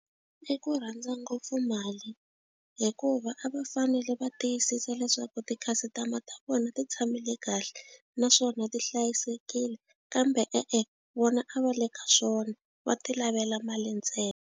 I ku rhandza ngopfu mali hikuva a va fanele va tiyisisa leswaku ti-customer ta vona ti tshamile kahle naswona ti hlayisekile kambe e-e vona a va le ka swona va ti lavela mali ntsena.